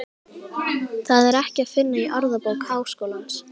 Það er ekki að finna í Orðabók Háskólans.